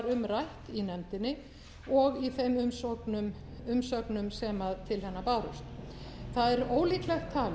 rætt í nefndinni og í þeim umsögnum sem til hennar bárust það er ólíklegt talið